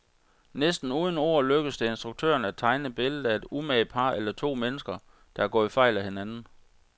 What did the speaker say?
Næsten uden ord lykkes det instruktøren at tegne billedet af et umage par eller to mennesker, der er gået fejl af hinanden.